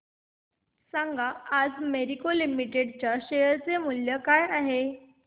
सांगा आज मॅरिको लिमिटेड च्या शेअर चे मूल्य काय आहे